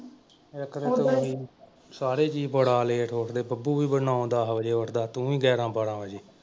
ਇੱਕ ਤੁਸੀਂ ਸਾਰੇ ਜੀਅ ਬੜਾ ਲੇਟ ਉੱਠਦੇ ਬੱਬੂ ਵੀ ਨੌਂ ਦਸ ਵਜੇ ਉੱਠਦਾ ਤੂੰ ਵੀ ਗਿਆਰਾਂ ਬਾਰਾਂ ਵਜੇ।